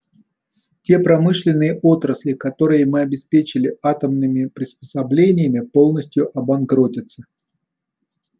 те промышленные отрасли которые мы обеспечили атомными приспособлениями полностью обанкротятся